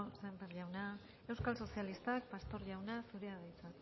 sémper jauna euskal sozialistak pastor jauna zurea da hitza